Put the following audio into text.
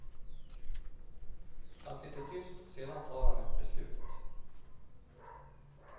Han sitter tyst och sedan tar han ett beslut.